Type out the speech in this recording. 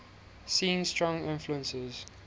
seen strong influences